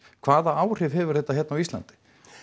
hvaða áhrif hefur þetta hérna á Íslandi